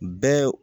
Bɛɛ